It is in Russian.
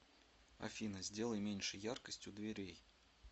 афина сделай меньше яркость у дверей